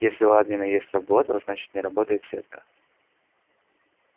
если у админа есть работа значит не работает сетка